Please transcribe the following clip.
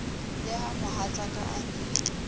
le ha mohatsaka a ne